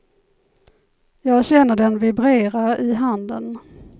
Jag känner den vibrera i handen.